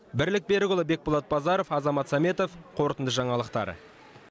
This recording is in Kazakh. бірлік берікұлы бекболат базаров азамат сәметов қорытынды жаңалықтар